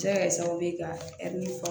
Se ka kɛ sababu ye ka